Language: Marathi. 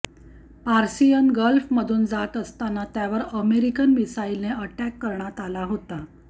पार्सियन गल्फमधून जात असताना त्यावर अमेरिकन मिसाइलने अॅटॅक करण्यात आला होता